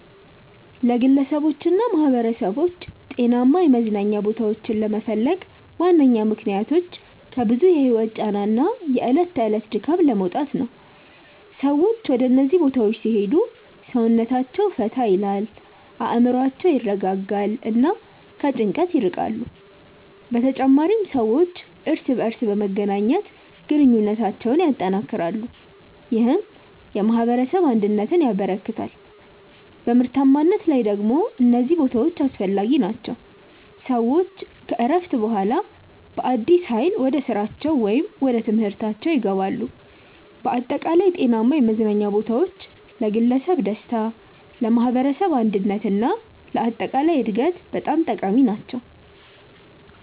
ግለሰቦችና ማኅበረሰቦች ጤናማ የመዝናኛ ቦታዎችን ለመፈለግ ዋነኛ ምክንያቶች ከብዙ የህይወት ጫና እና የዕለት ተዕለት ድካም ለመውጣት ነው። ሰዎች ወደ እነዚህ ቦታዎች ሲሄዱ ሰውነታቸውን ፈታ ይላል፣ አእምሮአቸውን ያረጋጋሉ እና ከጭንቀት ይርቃሉ። በተጨማሪም ሰዎች እርስ በርስ በመገናኘት ግንኙነታቸውን ያጠናክራሉ፣ ይህም የማኅበረሰብ አንድነትን ያበረክታል። በምርታማነት ላይ ደግሞ እነዚህ ቦታዎች አስፈላጊ ናቸው፤ ሰዎች ከእረፍት በኋላ በአዲስ ኃይል ወደ ስራቸው ወይም ወደ ትምህርታችው ይገባሉ። በአጠቃላይ ጤናማ የመዝናኛ ቦታዎች ለግለሰብ ደስታ፣ ለማኅበረሰብ አንድነት እና ለአጠቃላይ እድገት በጣም ጠቃሚ ናቸው።